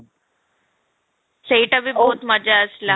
ସେଇଟା ବି ଭୁତ ମଜା ଆସିଲା